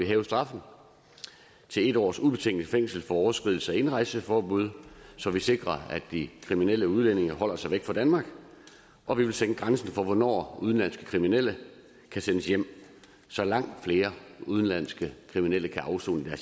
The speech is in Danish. hæve straffen til en års ubetinget fængsel for overskridelse af indrejseforbud så vi sikrer at de kriminelle udlændinge holder sig væk fra danmark og vi vil sænke grænsen for hvornår udenlandske kriminelle kan sendes hjem så langt flere udenlandske kriminelle kan afsone